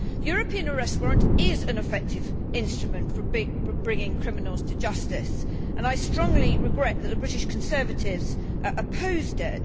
The European arrest warrant is an effective instrument for bringing criminals to justice, and I strongly regret that the British Conservatives opposed it.